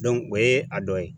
o ye a dɔ ye